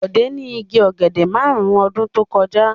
Bọ̀dé ní igi ọ̀gẹ̀dẹ̀ márùn-ún ọdún tó kọjá.